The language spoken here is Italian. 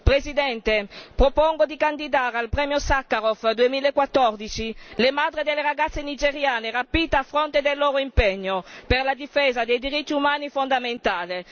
Signora Presidente, propongo di candidare al Premio Sakharov 2014 le madri delle ragazze nigeriane rapite a fronte del loro impegno per la difesa dei diritti umani fondamentale.